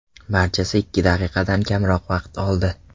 Barchasi ikki daqiqadan kamroq vaqt oldi.